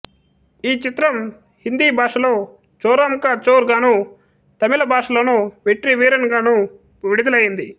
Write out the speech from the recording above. ఈ చిత్రం హిందీ భాషలో చోరోం కా చోర్ గానూ తమిళ భాషలో వెట్రి వీరన్ గాను విడుదలైంది